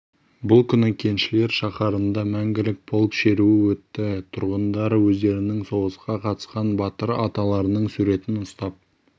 бұл күні кеншілер шаһарында мәңгілік полк шеруі өтті тұрғындар өздерінің соғысқа қатысқан батыр аталарының суретін ұстап